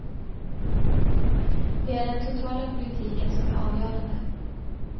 Det är den totala politiken som är avgörande.